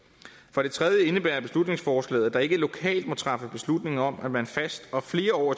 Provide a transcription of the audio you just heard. for det tredje indebærer beslutningsforslaget at der ikke lokalt må træffes beslutning om at man fast og flere år